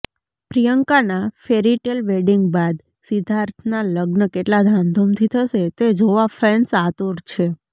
પ્રિયંકાના fairytale wedding બાદ સિદ્ધાર્થના લગ્ન કેટલા ધામધૂમથી થશે તે જોવા ફેન્સ આતુર છે